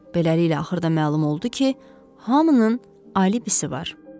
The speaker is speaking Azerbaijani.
Beləliklə, axırda məlum oldu ki, hamının alibisi var.